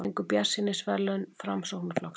Fengu bjartsýnisverðlaun Framsóknarflokksins